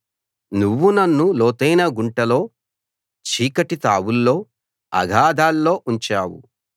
నువ్వు నన్ను లోతైన గుంటలో చీకటి తావుల్లో అగాధాల్లో ఉంచావు